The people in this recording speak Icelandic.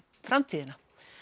framtíðina